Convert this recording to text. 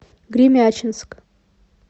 гремячинск